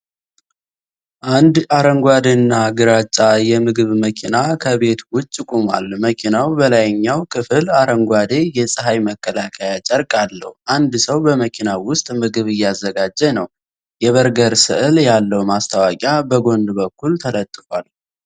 አንድ አረንጓዴና ግራጫ የምግብ መኪና ከቤት ውጭ ቆሟል። መኪናው በላይኛው ክፍል አረንጓዴ የፀሐይ መከላከያ ጨርቅ አለው። አንድ ሰው በመኪናው ውስጥ ምግብ እያዘጋጀ ነው። የበርገር ስዕል ያለው ማስታወቂያ በጎን በኩል ተለጥፏል።